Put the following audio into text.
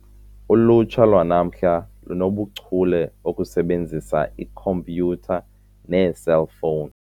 Ulutsha lwanamhla lungachule okusebenzisa ikhompyutha neeselfowuni.